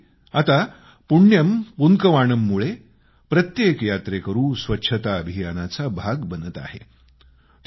त्यामध्येही आता पुण्यम पुन्कवाणममुळे प्रत्येक यात्रेकरू स्वच्छता अभियानाचा भाग बनत आहे